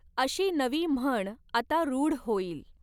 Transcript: अशी नवी म्हण आता रूढ होईल.